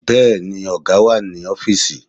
Bẹ́ẹ̀ni, ọ̀gá wà ní ọfísì